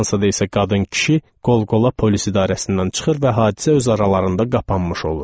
Fransada isə qadın-kişi qol-qola polis idarəsindən çıxır və hadisə öz aralarında qapanmış olur.